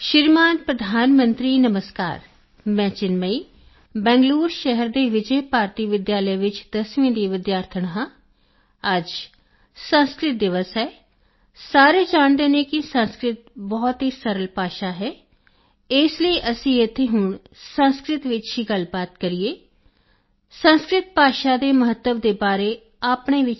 ਸ਼੍ਰੀ ਮਾਨ ਪ੍ਰਧਾਨ ਮੰਤਰੀ ਜੀ ਨਮਸਕਾਰ ਮੈਂ ਚਿਨਮਈ ਬੈਂਗਲੂਰੁ ਸ਼ਹਿਰ ਦੇ ਵਿਜੇ ਭਾਰਤੀ ਵਿਦਿਆਲਿਆ ਵਿੱਚ ਦਸਵੀਂ ਦੀ ਵਿਦਿਆਰਥਣ ਹਾਂ ਅੱਜ ਸੰਸਕ੍ਰਿਤ ਦਿਵਸ ਹੈ ਸਾਰੇ ਜਾਣਦੇ ਹਨ ਕਿ ਸੰਸਕ੍ਰਿਤ ਬਹੁਤ ਸਰਲ ਭਾਸ਼ਾ ਹੈ ਇਸ ਲਈ ਅਸੀਂ ਇਥੇ ਹੁਣ ਸੰਸਕ੍ਰਿਤ ਵਿੱਚ ਹੀ ਗੱਲਬਾਤ ਕਰੀਏ ਸੰਸਕ੍ਰਿਤ ਭਾਸ਼ਾ ਦੇ ਮਹੱਤਵ ਦੇ ਬਾਰੇ ਆਪਣੇ ਵਿਚਾਰ ਪ੍ਰਗਟ ਕਰੀਏ